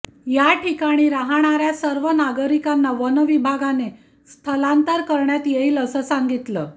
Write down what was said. या ठिकाणी राहणाऱ्या सर्व नागरिकांना वनविभागाने स्थलांतर करण्यात येईल असं सांगितलं